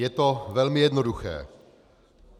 Je to velmi jednoduché.